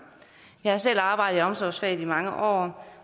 jeg har selv arbejdet i omsorgsfaget i mange år